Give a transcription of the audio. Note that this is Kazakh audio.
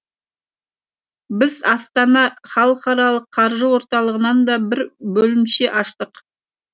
біз астана халықарылық қаржы орталығынан да бір бөлімше аштық